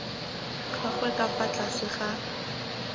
gagwe ka fa tlase ga